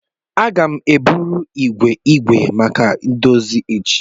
Aga m eburu igwe igwe maka ndozi echi.